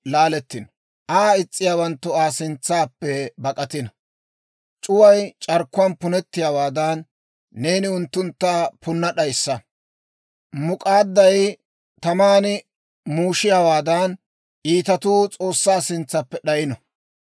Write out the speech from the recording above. C'uway c'arkkuwaan punettiyaawaadan, neeni unttuntta punna d'ayssa. Muk'aadday taman muushiyaawaadan, iitatuu S'oossaa sintsappe d'ayino.